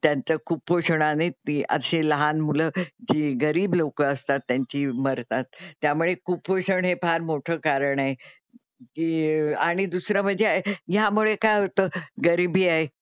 त्यांचं कुपोषणाने ती अशे लहान मुलं जी गरीब लोकं असतात त्यांची मरतात. त्यामुळे कुपोषण हे फार मोठं कारण आहे जी आणि दुसरं म्हणजे यामुळे काय होतं गरीबी आहे,